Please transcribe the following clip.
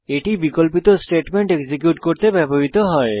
এটি বিকল্পিত statement execute করতে ব্যবহৃত হয়